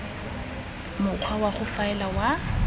mokgwa wa go faela wa